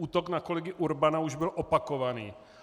Útok na kolegu Urbana už byl opakovaný.